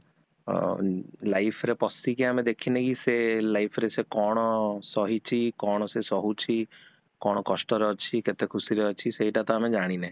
ଅ life ରେ ପଶିକି ଆମେ ଦେଖିନେ କି ସିଏ ସେ life ରେ ସେ କଣ ସହିଛି କଣ, କଣ ସେ ସହୁଛି, କଣ କଷ୍ଟରେ ଅଛି କେତେ ଖୁସି ରେ ଅଛି ସେଟା ତ ଆମେ ଜାଣିନେ